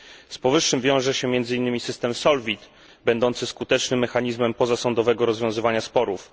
Z powyższym wiąże się między innymi system SOLVIT, będący skutecznym mechanizmem pozasądowego rozwiązywania sporów.